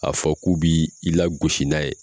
A fɔ k'u b'i lagosi n'a ye